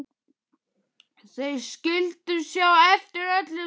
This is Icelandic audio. Þau skyldu sjá eftir öllu saman.